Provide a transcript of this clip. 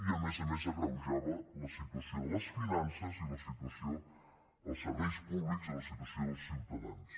i a més a més agreujava la situació de les finances i la situació als serveis públics i la situació dels ciutadans